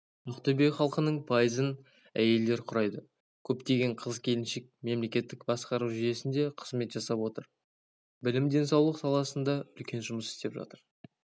ақтөбе халқының пайызын әйелдер құрайды көптеген қыз-келіншек мемлекеттік басқару жүйесінде қызмет жасап отыр білім денсаулық саласында үлкен жұмыс істеп жатыр